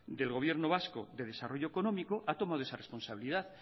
del gobierno vasco de desarrollo económico ha tomado esa responsabilidad